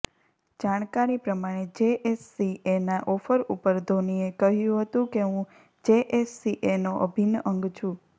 જાણકારી પ્રમાણે જેએસસીએના ઓફર ઉપર ધોનીએ કહ્યું હતું કે હું જેએસસીએનો અભિન્ન અંગ છું